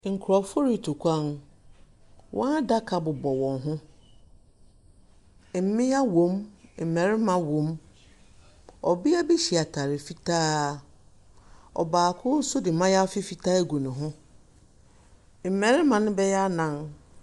Nsuo gyina kwan no mfinimfino. Kiosk bebree nso esisi ha. Adwadifoɔ nso retɔn adeɛ. Ebi te motor so. Obi so adeɛ.